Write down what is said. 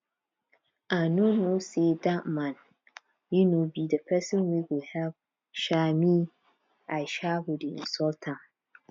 i no know say dat man um be the person wey go help um me i um go dey insult am